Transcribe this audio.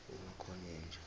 umakhonyeja